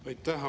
Aitäh!